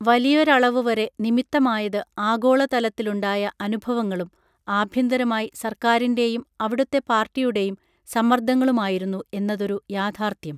വലിയൊരളവുവരെ നിമിത്തമായത് ആഗോളതലത്തിലുണ്ടായ അനുഭവങ്ങളും ആഭ്യന്തരമായി സർക്കാരിൻറെയും അവിടുത്തെ പാർട്ടിയുടേയും സമ്മർദങ്ങളുമായിരുന്നു എന്നതൊരു യാഥാർഥ്യം